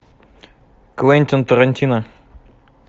квентин тарантино